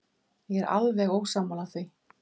Ég er alveg ósammála því.